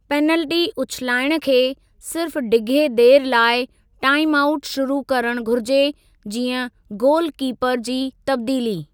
Penalty उछिलाइणु खे सिर्फ़ डिघे देरि लाइ टाईम आऊट शुरू करणु घुरिजे जीअं गोलु कीपर जी तब्दीली।